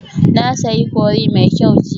Na sayi curry mai kyau jiya